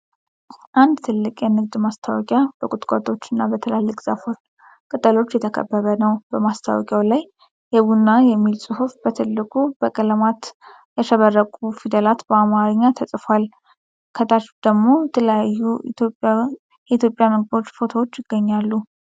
አንድ ትልቅ የንግድ ማስታወቂያ በቁጥቋጦዎች እና በትላልቅ ዛፎች ቅጠሎች የተከበበ ነው። በማስታወቂያው ላይ "የቡና" የሚል ጽሑፍ በትልቁ በቀለማት ያሸበረቁ ፊደላት በአማርኛ ተጽፏል። ከታች ደግሞ የተለያዩ የኢትዮጵያ ምግቦች ፎቶዎች ይገኛሉ።